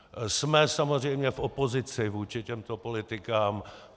Jsme samozřejmě v opozici vůči těmto politikám.